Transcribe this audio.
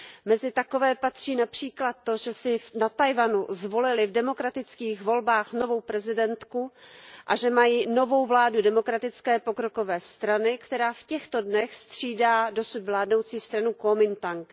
Mezi takové patří například to, že na Tchaj wanu zvolili v demokratických volbách novou prezidentku a novou vládu Demokratické pokrokové strany, která v těchto dnech střídá dosud vládnoucí stranu Kuomintang.